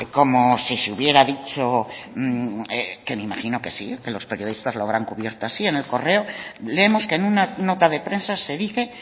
como si se hubiera dicho que me imagino que sí que los periodistas lo habrán cubierto así en el correo leemos que en una nota de prensa se dice